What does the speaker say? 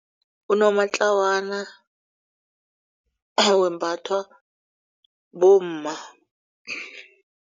Unomatlawana wembathwa bomma.